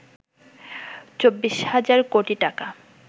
২৪ হাজার কোটি টাকা